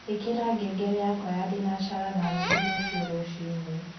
ĩkĩra ngengere yakwa ya thĩnacara na nũthũ ruciu rũcĩĩnĩ